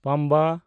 ᱯᱟᱢᱵᱟ